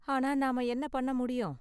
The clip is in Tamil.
ஆனா நாம என்ன பண்ண முடியும்?